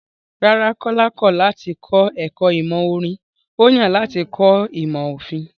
Rárá, Kọ́lá kọ̀ láti kọ ẹ̀kọ́ ìmọ̀ orin, ó yàn láti kọ́ ìmọ̀ òfin.